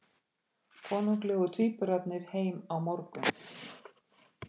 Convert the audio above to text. Konunglegu tvíburarnir heim á morgun